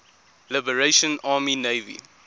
liberation army navy